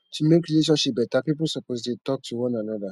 to mek relationship beta pipo supposed dey talk to one anoda